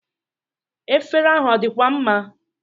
Efere ahụ ọ dịkwa mma?